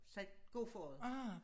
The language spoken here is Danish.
Sagt god for det